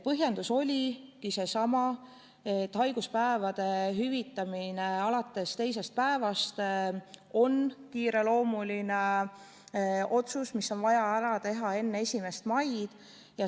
Põhjendus oligi see, et haiguspäevade hüvitamine alates teisest päevast on kiireloomuline otsus, mis on vaja ära teha enne 1. maid.